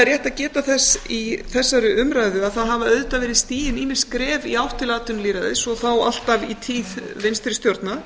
rétt að geta þess í þessari umræðu að það hafa auðvitað verið stigin ýmis skref í átt til atvinnulýðræðis og þá alltaf í tíð vinstri stjórna